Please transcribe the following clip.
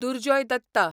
Durjoy Datta